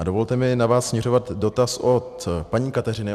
A dovolte mi na vás směřovat dotaz od paní Kateřiny.